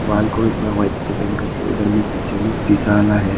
Wall को भी पूरा व्हाईट से पेंट कर के उधर में पीछे में शीशा वाला है।